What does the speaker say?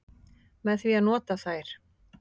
Með því að nota þær.